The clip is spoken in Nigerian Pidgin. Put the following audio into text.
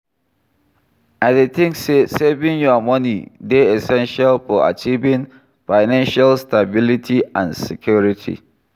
I dey think say saving your money dey essential for achieving financial stability and security.